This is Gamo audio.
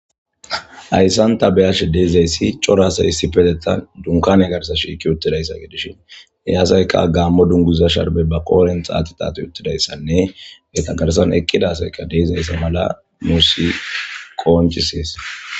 Hayssan ta beyash deezayssi corasay hissi petetan dunkan egarsa shiiki uttidayssa gedishin eyasayka gammo dunguza sharbe ba qoolen xaati taato uttidayssanne be tagarsan eqqida asayka deizayssa mala muusi qooncisees.